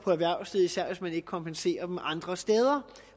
især hvis man ikke kompenserer dem andre steder